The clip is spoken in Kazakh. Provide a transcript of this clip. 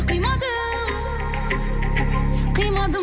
қимадым қимадым